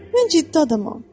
mən ciddi adamam.